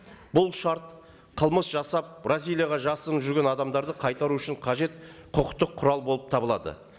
бұл шарт қылмыс жасап бразилияда жасырынып жүрген адамдарды қайтару үшін қажет құқықтық құрал болып табылады